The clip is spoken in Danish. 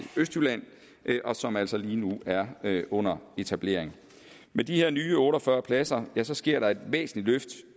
østjylland og som altså lige nu er under etablering med de her nye otte og fyrre pladser pladser sker der et væsentligt